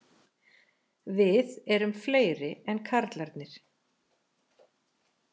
Við erum fleiri en karlarnir